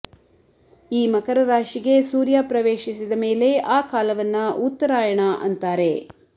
ಈ ಮಕರ ರಾಶಿಗೆ ಸೂರ್ಯ ಪ್ರವೇಶಿಸಿದ ಮೇಲೆ ಆ ಕಾಲವನ್ನ ಉತ್ತರಾಯಣ ಅಂತಾರೆ